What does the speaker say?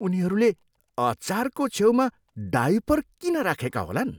उनीहरूले अचारको छेउमा डायपर किन राखेका होलान्?